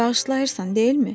Bağışlayırsan, deyilmi?